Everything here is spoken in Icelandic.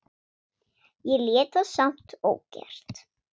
Ég lét það samt ógert.